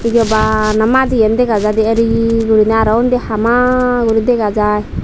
ibey bana madi gan dega jaidey ereyi guriney aro undi hama guri dega jaai.